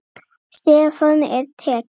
Stefnan er tekin.